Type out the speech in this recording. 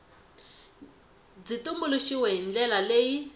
byi tumbuluxiwile hi ndlela leyi